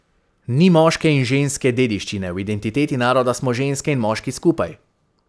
Ni moške in ženske dediščine, v identiteti naroda smo ženske in moški skupaj.